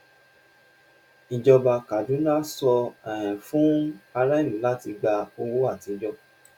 ìjọba kaduna sọ um fún ará-ìlú láti gbà owó àtijọ.